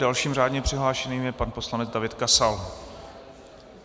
Dalším řádně přihlášeným je pan poslanec David Kasal.